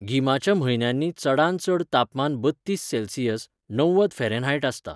गिमाच्या म्हन्यांनी चडांत चड तापमान बत्तीस सेल्सियस ,णव्वद फॅरेनहाइट आसता.